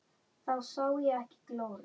Þá sá ég ekki glóru.